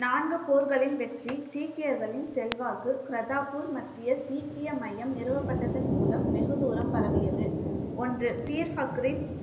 நான்கு போர்களின் வெற்றி சீக்கியர்களின் செல்வாக்கு கர்தார்பூர் மத்திய சீக்கிய மையம் நிறுவப்பட்டதன் மூலம் வெகு தூரம் பரவியது ஒன்று